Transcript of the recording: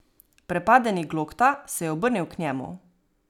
Prepadeni Glokta se je obrnil k njemu.